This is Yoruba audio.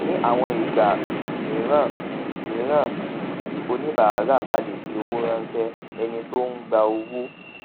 ní àwọn ìgbà um mìíràn um mìíràn um tí oníbàárà bá lè fi owó ránṣé ẹni tó ń gba owó